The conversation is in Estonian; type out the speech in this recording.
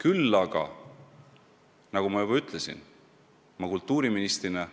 Küll aga, nagu ma juba ütlesin, kultuuriministrina ma